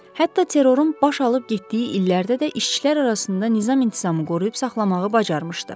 Hətta terrorun baş alıb getdiyi illərdə də işçilər arasında nizam-intizamı qoruyub saxlamağı bacarmışdı.